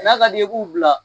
N'a ka d'i ye i b'u bila